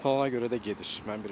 Planına görə də gedir.